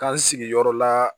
K'an sigi yɔrɔ la